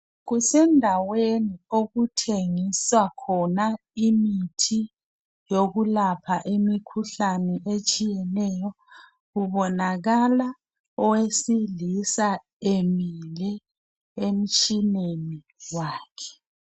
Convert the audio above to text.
Kusendaweni okuthengiswa khona imithi yokulapha imikhuhlane etshiyeneyo, kubonakala owesilisa emile emtshineni wakhe.